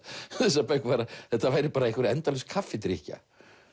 þessar bækur var að þetta væri bara einhver endalaus kaffidrykkja